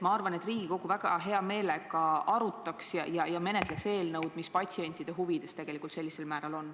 Ma arvan, et Riigikogu väga hea meelega arutaks ja menetleks eelnõu, mis on sellisel määral patsientide huvides.